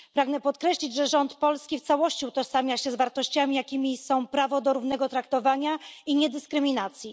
Pragnę podkreślić, że rząd polski w całości utożsamia się z wartościami, jakimi są prawo do równego traktowania i niedyskryminacji.